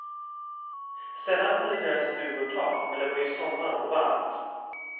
Sällan hade deras stugor tak, men det var ju sommar och varmt.